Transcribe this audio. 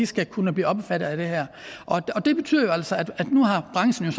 skal kunne blive omfattet af det her og det betyder jo altså at nu har branchen